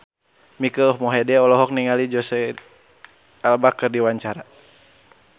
Mike Mohede olohok ningali Jesicca Alba keur diwawancara